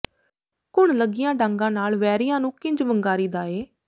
ਘੁਣ ਲੱਗੀਆਂ ਡਾਂਗਾਂ ਨਾਲ ਵੈਰੀਆਂ ਨੂੰ ਕਿੰਜ ਵੰਗਾਰੀ ਦਾ ਏ